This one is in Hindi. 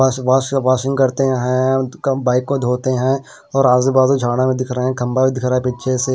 सुबह वॉशिंग करते हैं उनका बाइक को धोते हैं और आज़ू बाज़ू दिख रहे हैं खंबा भी दिख रहा है पीछे से--